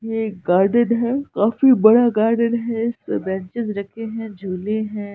ये गार्डन हैं। काफी बड़ा गार्डन हैं इसमे बेंचीस रखे हैं जुले हैं।